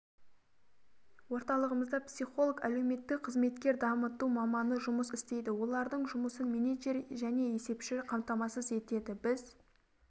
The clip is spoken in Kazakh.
орталығымызда психолог әлеуметтік қызметкер дамыту маманы жұмыс істейді олардың жұмысын менеджер және есепші қамтамасыз етеді біз